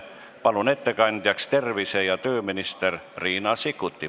Palun ettekandjaks tervise- ja tööminister Riina Sikkuti.